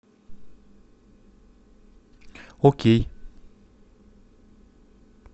окей